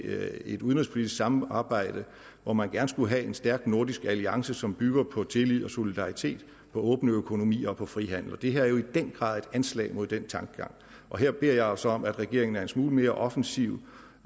et udenrigspolitisk samarbejde hvor man gerne skulle have en stærk nordisk alliance som bygger på tillid og på solidaritet på åbne økonomier og på frihandel det her er jo i den grad et anslag mod denne tankegang og her beder jeg altså om at regeringen er en smule mere offensiv